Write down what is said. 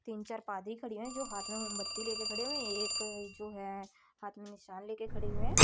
तीन चार पादरी खड़े हैं जो हाथ में मोमबत्ती ले के खड़े हुए हैं एक जो है हाथ में मिसाल लेकर खड़े हुए हैं।